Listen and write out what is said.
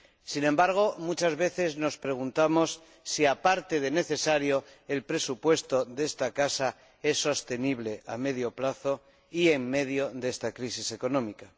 Sin embargo, muchas veces nos preguntamos si, aparte de necesario, el presupuesto de esta casa es sostenible a medio plazo y en esta crisis económica.